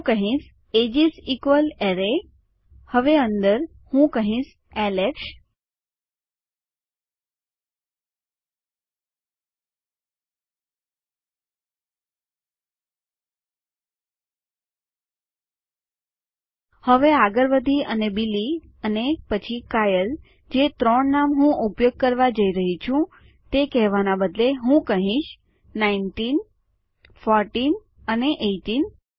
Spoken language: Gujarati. હું કહીશ એજીસ ઇક્વ્લ્સ એરેય હવે અંદર હું કહીશ એલેક્સ હવે આગળ વધી અને બિલી અને પછી કાયલે જે ત્રણ નામ હું ઉપયોગ કરવા જઈ રહી છું તે કહેવાના બદલે હું કહીશ નાઈનટીન ફોરટીન અને એઈટીન